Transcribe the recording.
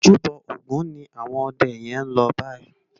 Ójúbò ógùn ni áwòn òdè yèn lò báyi